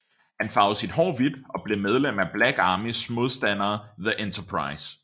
Han farvede sit hår hvidt og blev medlem af Black Armys modstandere The Enterprise